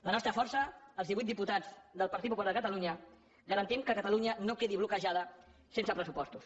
la nostra força els divuit diputats del partit popular de catalunya garantim que catalunya no quedi bloquejada sense pressupostos